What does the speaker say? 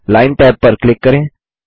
line tab पर click करें